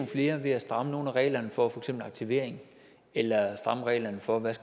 flere ved at stramme nogle af reglerne for for eksempel aktivering eller stramme reglerne for